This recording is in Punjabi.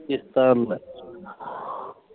ਕਿਸ਼ਤਾਂ ਨੂੰ ਮੈਂ